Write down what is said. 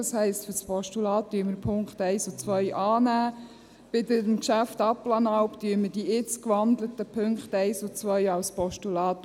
Das heisst: Beim Postulat nehmen wir die Punkte 1 und 2 an, beim Geschäft Abplanalp unterstützen wir die jetzt gewandelten Punkte 1 und 2 als Postulat.